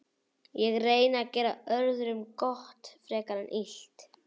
Ég reyni að gera öðrum frekar gott en illt.